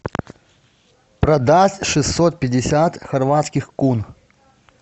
продать шестьсот пятьдесят хорватских кун